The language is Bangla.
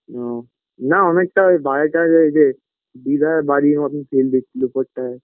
ও না অনেকটা বাইরে টাইরে এইযে দিদার বাড়ির মতোন দিচ্ছিলো ওপরটায়